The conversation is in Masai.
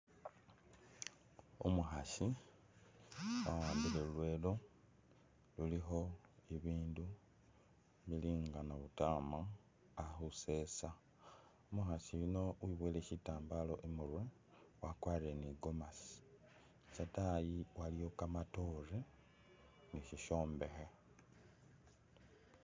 Umukhasi awambile lulwelo lulikho ibindu z bili nga nabutama ali khusesa, umukhasi uyuno weboyele shitambala imurwe , wakwarire ne igomesi , ataayi waliyo kamatoore ne sishombekhe.